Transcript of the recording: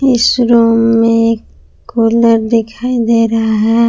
इस रुम में एक कुलर दिखाई दे रहा है।